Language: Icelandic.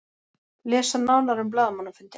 Lesa nánar um blaðamannafundinn.